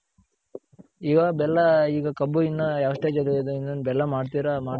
ಇವಾಗ್ ಬೆಲ್ಲ ಈಗ ಕಬ್ಬು ಇನ್ನ ಯಾವ್ stage ಅಲ್ಲಿದೆ ಇನ್ನೇನ್ ಬೆಲ್ಲ ಮಾಡ್ತಿರ ಮಾಡ್ತಾ